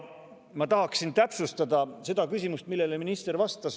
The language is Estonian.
Ma tahaksin täpsustada seda küsimust, millele minister vastas.